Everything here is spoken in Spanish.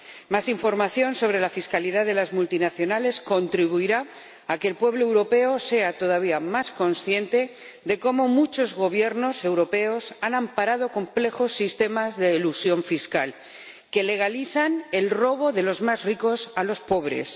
Más información sobre la fiscalidad de las multinacionales contribuirá a que el pueblo europeo sea todavía más consciente de cómo muchos gobiernos europeos han amparado complejos sistemas de elusión fiscal, que legalizan el robo de los más ricos a los pobres.